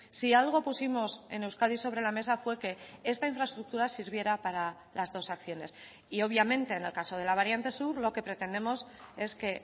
si algo pusimos en euskadi sobre la mesa fue que esta infraestructura sirviera para las dos acciones y obviamente en el caso de la variante sur lo que pretendemos es que